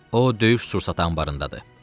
O döyüş sursatı anbarındadır.